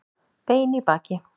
Bein í baki